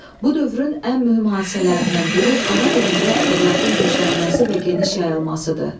Bu dövrün ən mühüm hadisələrindən biri ana dilində ədəbiyyatın güclənməsi və geniş yayılmasıdır.